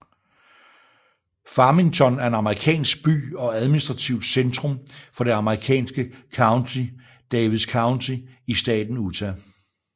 Farmington er en amerikansk by og administrativt centrum for det amerikanske county Davis County i staten Utah